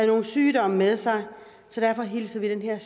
nogle sygdomme med sig så derfor hilser vi den her